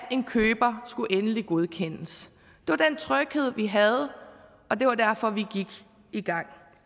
en køber skulle endelig godkendes var den tryghed vi havde og det var derfor vi gik i gang